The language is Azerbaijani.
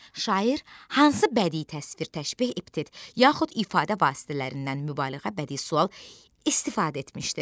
Şair hansı bədii təsvir, təşbeh, epitet, yaxud ifadə vasitələrindən mübaliğə, bədii sual istifadə etmişdi?